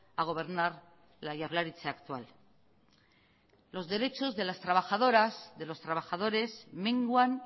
a gobernar la jaurlaritza actual los derechos de las trabajadoras de los trabajadores menguan